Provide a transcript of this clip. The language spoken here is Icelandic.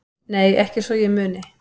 Nei ekki svo ég muni